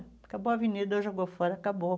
Acabou a avenida, jogou fora, acabou.